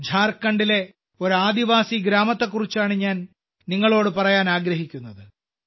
ഝാർഖണ്ഡിലെ ഒരു ആദിവാസി ഗ്രാമത്തെക്കുറിച്ചാണ് ഇപ്പോൾ ഞാൻ നിങ്ങളോട് പറയാൻ ആഗ്രഹിക്കുന്നത്